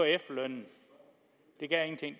efterlønnen